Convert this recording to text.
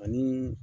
Ani